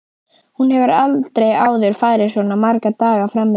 Hún hefur aldrei áður farið svona marga daga fram yfir.